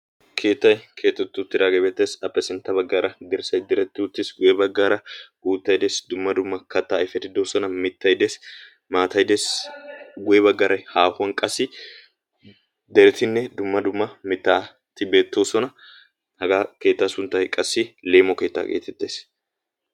keettay keexxeti uttidaagee beettees. ape sintta baggaara dirssay diretti utiis. guye baggaara uuttay dees dumma dumma kattaa ayfeti doosona. mittay dees. guye baggaara haahuwan qassi deretinne dumma dumma mitaati beettoosona hagaa keettaa sunttay qassi leemo keetaa geetettees.